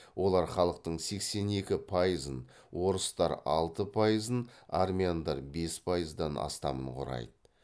олар халықтың сексен екі пайызын орыстар алты пайызын армяндар бес пайыздан астамын құрайды